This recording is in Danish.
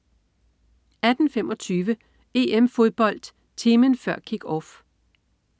18.25 EM-Fodbold: Timen før Kick-Off